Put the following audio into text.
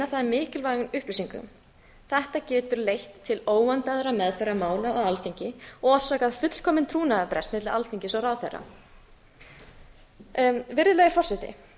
það mikilvægum upplýsingum þetta getur leitt til óvandaðrar meðferðar mála á alþingi og orsakað fullkominn trúnaðarbrest milli alþingis og ráðherra virðulegi forseti